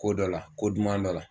Ko dɔ la, ko duman dɔ la.